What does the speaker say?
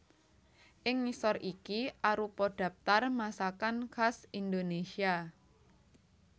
Ing ngisor iki arupa dhaptar masakan khas Indonésia